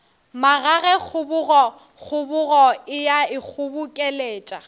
magage kgobokgobo e a ikgobokeletša